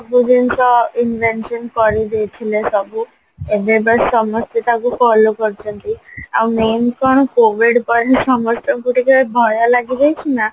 ସବୁ ଜିନିଷ କରିଦେଇଥିଲେ ସବୁ ଏବେ but ସମସ୍ତେ ତାକୁ follow କରୁଚନ୍ତି ଆଉ main କଣ COVID ପରେ ସମସ୍ତଙ୍କୁ ଟିକେ ଭୟ ଲାଗିଯାଇଚି ନାଁ